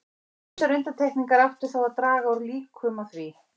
Ýmsar undantekningar áttu þó að draga úr líkum á því.